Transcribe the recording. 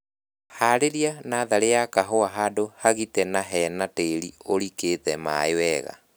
Harĩrĩa natharĩ ya kahũa handũ hagite na hena tĩri ũrikĩtie maĩĩ wega